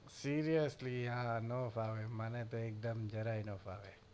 seriously yaar આ ના ફાવે આ મને તો જરાય ન ફાવે